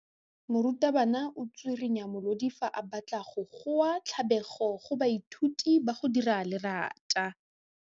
Morutwabana o tswirinya molodi fa a batla go goa tlabego go baithuti ba go dira lerata.